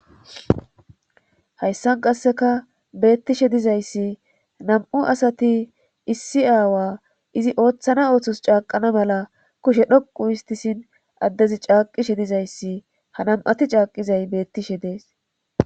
Hayssan qasseka beettishe dizayssi nam7u asati issi aawa izi ooththana ooththos caaqana mala kushe dhoqu histisin addezi caaqishe dizayssi ha nam7ati caaqizay bettishe dees.